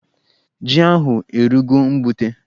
Ji ahụ erugo mgbute